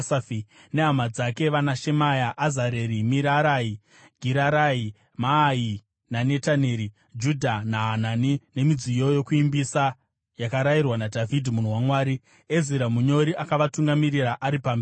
nehama dzake vanaShemaya, Azareri, Mirarai, Girarai, Maai, Nataneri, Judha naHanani nemidziyo yokuimbisa yakarayirwa naDhavhidhi munhu waMwari. Ezira munyori akavatungamirira ari pamberi.